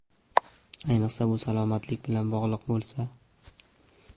Ayniqsa, bu salomatlik bilan bog‘liq bo‘lsa.